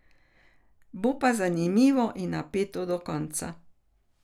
Bo pa zanimivo in napeto do konca.